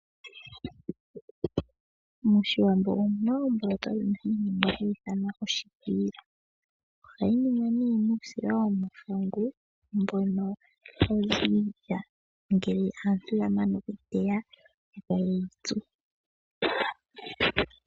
MOshiwambo omuna omboloto yimwe hayi ningwa hayi ithanwa oshikwiila. Ohayi ningwa nee muusila womahangu mbono hawu zi miilya ngele aantu ya mana okuteya, e ta yeyi tsu.